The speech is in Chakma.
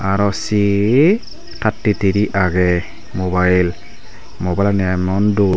aro c thirty three age mobile mobile ani emon dol.